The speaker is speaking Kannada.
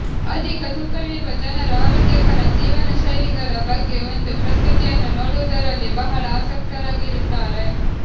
ಅಧಿಕ ತೂಕವಿರುವ ಜನರು ಆರೋಗ್ಯಕರ ಜೀವನಶೈಲಿಗಳ ಬಗ್ಗೆ ಒಂದು ಪ್ರಸ್ತುತಿಯನ್ನು ನೋಡುವುದರಲ್ಲಿ ಬಹಳ ಆಸಕ್ತರಾಗಿರುತ್ತಾರೆ